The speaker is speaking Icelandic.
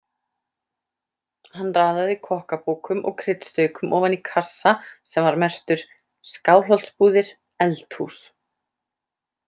Hann raðaði kokkabókum og kryddstaukum ofan í kassa sem var merktur: Skálholtsbúðir- Eldhús.